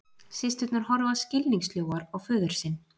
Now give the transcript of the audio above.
Systurnar horfa skilningssljóar á föður sinn